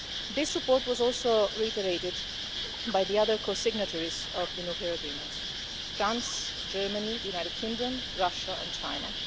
This support was also reiterated by the other co-signatories of the nuclear agreement France, Germany, the United Kingdom, Russia and China.